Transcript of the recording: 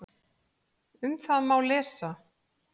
Um það má lesa